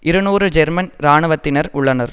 இருநூறு ஜெர்மன் இராணுவத்தினர் உள்ளனர்